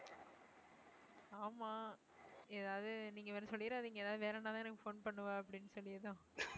ஆமா ஏதாவது நீங்க வேற சொல்லிடாதீங்க ஏதாவது வேற என்னதான் எனக்கு phone பண்ணுவா அப்படின்னு சொல்லிதான்